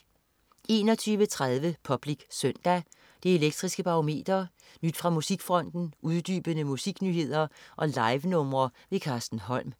21.30 Public Søndag. Det Elektriske Barometer, nyt fra musikfronten, uddybende musiknyheder og livenumre. Carsten Holm